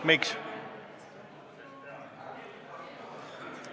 Miks?